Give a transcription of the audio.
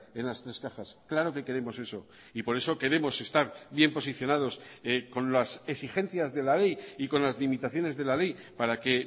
en las tres cajas claro que queremos eso y por eso queremos estar bien posicionados con las exigencias de la ley y con las limitaciones de la ley para que